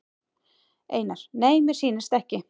Einar: Nei mér sýnist ekki.